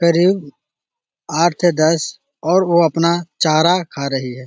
करीब आठ दस और वो अपना चारा खा रही है |